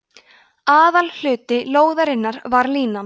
aðalhluti lóðarinnar var línan